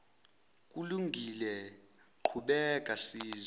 kulungile qhubeka sizwe